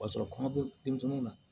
O b'a sɔrɔ kɔnɔ bɛ denmisɛnninw na